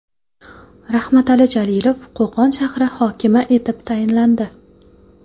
Rahmatali Jalilov Qo‘qon shahri hokimi etib tayinlandi.